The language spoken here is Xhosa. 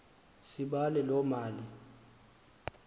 sibale loo mali